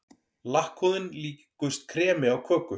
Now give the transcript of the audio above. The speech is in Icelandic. Lakkhúðin líkust kremi á köku.